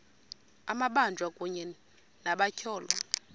amabanjwa kunye nabatyholwa